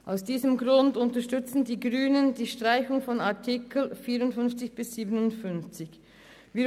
Aus diesem Grund unterstützen die Grünen die Streichung der Artikel 54–57.